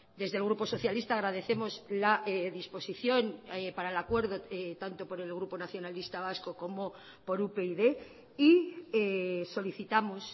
desde el grupo socialista agradecemos la disposición para el acuerdo tanto por el grupo nacionalista vasco como por upyd y solicitamos